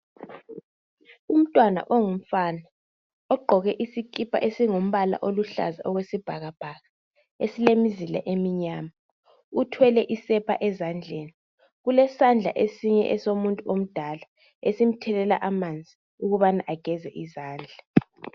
umntwana ongumfana ogqoke isikipa esingumbala oluhlaza okwesibhakabhaka esilemizila eminyama uthwele isepa ezandleni kulesandla esinye esomuntu omdala esimthelela amanzi ukubana ageze izandla